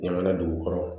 Ɲama na dugu kɔrɔ